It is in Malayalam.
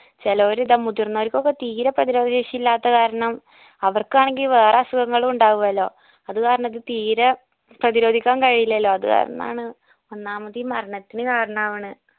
ചേലോര് ഇത് മുതിർന്നവർക്കൊക്കെ തീരെ പ്രതിരോധ ശേഷി ഇല്ലാത്ത കാരണം അവർക്കാണെങ്കിൽ വേറെ അസുഖങ്ങളും ഉണ്ടാവുലോ അത് കാരണം ഇത് തീരെ പ്രതിരോധിക്കാൻ കഴിയില്ലെലോ അത് കാരണാണ് ഒന്നാമത് ഈ മരണത്തിന് കാരണാവ്ണെ